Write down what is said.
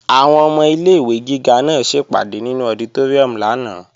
Àwọn ọmọ ilé-ìwé gíga náà ṣèpàdé nínú ọditóríùm lánàá